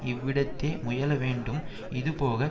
இவ்விடத்தே முயல வேண்டும் இது போக